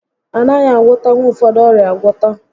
A naghị agwọtanwu ụfọdụ ọrịa agwọta